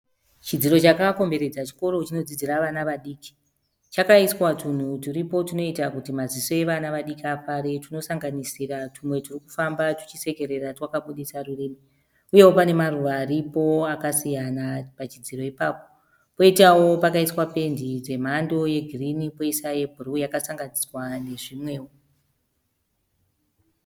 Chidziro chakakomberedza chikoro chinodzidzira vana vadiki. Chakaiswa twunhu twuripo twunoita kuti maziso evana vadiki afare tunosanganisira tumwe turi kufamba twuchisekerera twakabudisa rurimi. Uyewo pane maruva aripo akasiyana pachidziro ipapo. Koitawo pakaiswa pendi dzemhando yegirini poiswa yebhuruu yakasanganisira nezvimwewo.